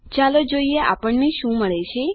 ચાલો જોઈએ આપણને શું મળે છે